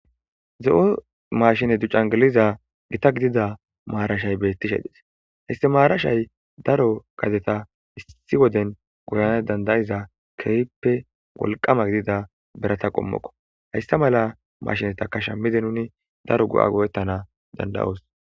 Ze'o mashine ducangiliza gita gidida maarashay beettishe des histemaarashay daro gadeta issi woden goyana dandayiza keehppe wolqama gidida berata qommokko haysta mala mashineta kasha mide nuni daro go'a gowettana dandayoos